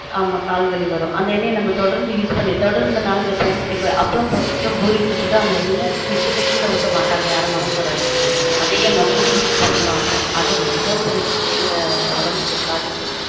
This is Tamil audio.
ஆமா கால் வலி வரும் அந்த எண்ணெய நம்ம தொடர்ந்து use பண்ணி தொடர்ந்துனா இப்ப அப்பளம் பொறிச்சுட்டொ பூரி சுட்டுட்டொ அந்த எண்ணெய மிச்சத்த கீழ ஊத்த மாட்டாங்க யாரும் மனசு வராது அதயே மறுபடியும் use பண்ணுவாங்க அது ரொம்ப பெரிய பெரிய உடம்புக்கு பாதிப்பு